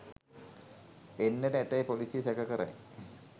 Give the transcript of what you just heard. එන්නට ඇතැයි පොලිසිය සැක කරයි